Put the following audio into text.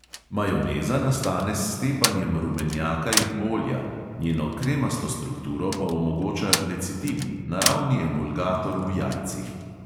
Majoneza nastane s stepanjem rumenjaka in olja, njeno kremasto strukturo pa omogoča lecitin, naravni emulgator v jajcih.